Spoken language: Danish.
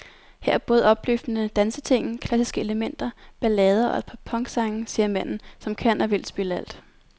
Her er både opløftende danseting, klassiske elementer, ballader og et par punksange, siger manden, som kan og vil spille alt.